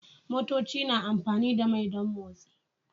Motoci na amfani da mai don motsi